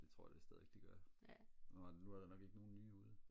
det tror jeg da stadig de gør nå nej nu er der nok ikke nogen nye ude